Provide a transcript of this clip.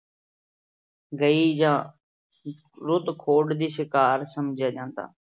ਗਈ ਜਾਂ ਦੀ ਸ਼ਿਕਾਰ ਸਮਝਿਆ ਜਾਂਦਾ।